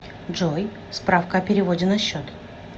джой справка о переводе на счет